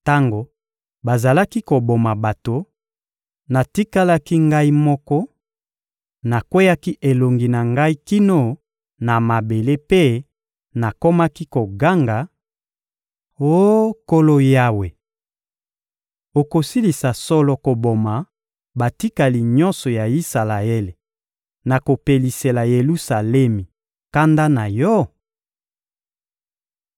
Tango bazalaki koboma bato, natikalaki ngai moko; nakweyaki elongi na ngai kino na mabele mpe nakomaki koganga: — Oh, Nkolo Yawe! Okosilisa solo koboma batikali nyonso ya Isalaele, na kopelisela Yelusalemi kanda na Yo?